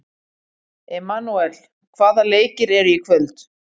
Emanúel, hvaða leikir eru í kvöld?